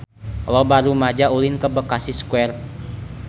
Loba rumaja ulin ka Bekasi Square